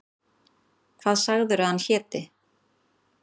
Hvað sagðirðu að hann héti?